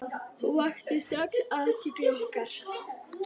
Hún vakti strax athygli okkar.